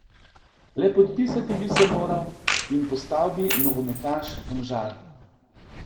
Le podpisati bi se moral in postal bi nogometaš Domžal.